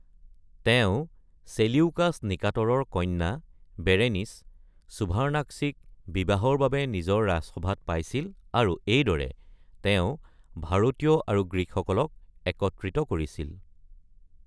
তেওঁ চেলিউকাছ নিকাটৰৰ কন্যা বেৰেনিচ (সুভাৰ্ন্নাক্সি)ক বিবাহৰ বাবে নিজৰ ৰাজসভাত পাইছিল আৰু এইদৰে, তেওঁ ভাৰতীয় আৰু গ্ৰীকসকলক একত্ৰিত কৰিছিল।